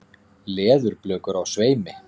Leðurblökur á sveimi.